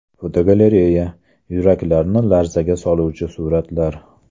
Fotogalereya: Yuraklarni larzaga soluvchi suratlar .